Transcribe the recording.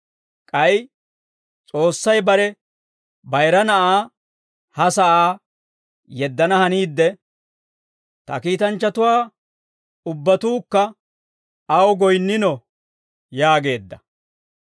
K'ay S'oossay bare bayira Na'aa ha sa'aa yeddana haniidde, «Ta kiitanchchatuwaa ubbatuukka aw goyinnino» yaageedda.